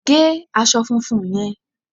Gé aṣọ funfun yẹn!